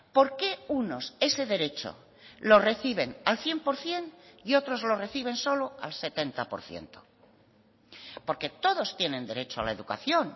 por qué unos ese derecho lo reciben al cien por ciento y otros lo reciben solo al setenta por ciento porque todos tienen derecho a la educación